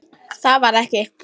Það varð ekki.